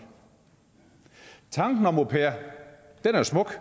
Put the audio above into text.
tanken om au pair er jo smuk